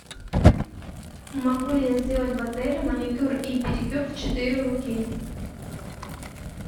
могу ли я сделать в отеле маникюр и педикюр в четыре руки